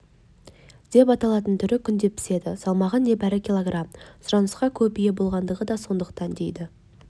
деп аталатын түрі күнде піседі салмағы небәрі кг сұранысқа көп ие болатындығы да сондықтан дейді